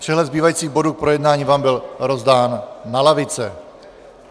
Přehled zbývajících bodů k projednání vám byl rozdán na lavice.